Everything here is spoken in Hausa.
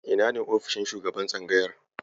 Ina ne ofishin shugaban tsangayar?